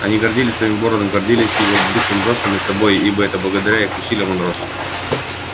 они гордились своим городом гордились его быстрым ростом и собой ибо это благодаря их усилиям он рос